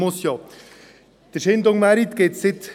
Den Chaindon-Markt gibt es seit 1632.